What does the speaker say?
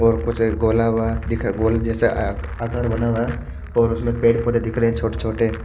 और कुछ गोलाकार दिख गोल जेसा आकार बना हुआ है और उसमे पेड़ पोधे दिख रहे है छोटे छोटे --